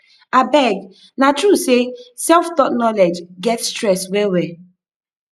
abeg na true say self-taught knowledge get stress well well